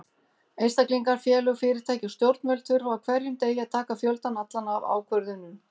Einstaklingar, félög, fyrirtæki og stjórnvöld þurfa á hverjum degi að taka fjöldann allan af ákvörðunum.